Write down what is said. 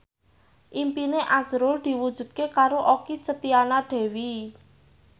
impine azrul diwujudke karo Okky Setiana Dewi